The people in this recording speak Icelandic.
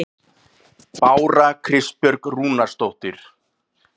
Bára Kristbjörg Rúnarsdóttir